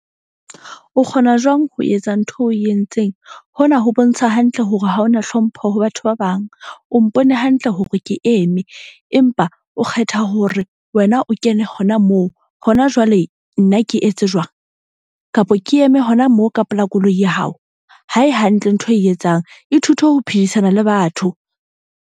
O kgona jwang ho etsa ntho eo o e entseng? Hona ho bontsha hantle hore ha ona hlompho ho batho ba bang. O mpone hantle hore ke eme, empa o kgetha hore wena o kene hona moo. Hona jwale nna ke etse jwang kapa ke eme hona moo ka pela koloi ya hao. Ha e hantle ntho e etsang, ithute ho phedisana le batho.